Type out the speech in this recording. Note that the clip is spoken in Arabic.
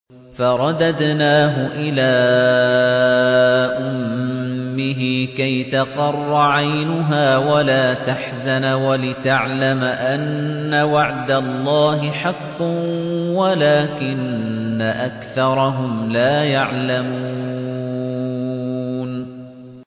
فَرَدَدْنَاهُ إِلَىٰ أُمِّهِ كَيْ تَقَرَّ عَيْنُهَا وَلَا تَحْزَنَ وَلِتَعْلَمَ أَنَّ وَعْدَ اللَّهِ حَقٌّ وَلَٰكِنَّ أَكْثَرَهُمْ لَا يَعْلَمُونَ